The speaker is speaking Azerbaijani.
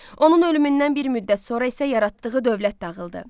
Onun ölümündən bir müddət sonra isə yaratdığı dövlət dağıldı.